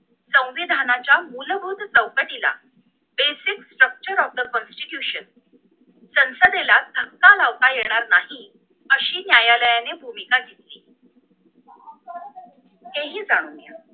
संविधानाच्या मूलभूत चौकटिला basic sturcture of the constitution संसदेला धक्का लावता येणार नाही अशी न्यायालयाने भूमिका घेतली ते हि जाणून घेऊया